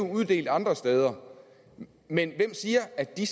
uddelt andre steder men hvem siger at de